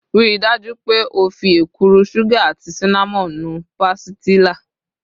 Rii daju pe o fi ekuru sugar ati cinnamon nu pastilla